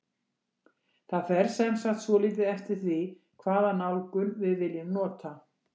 Það fer sem sagt svolítið eftir því hvaða nálgun við viljum nota.